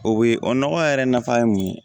O be o nɔgɔ yɛrɛ nafa ye mun ye